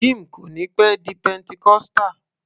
Jim kò níí pẹ́ di pentecostal